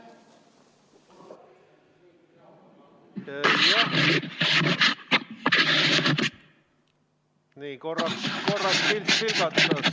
Jah, korraks pilt vilgatas.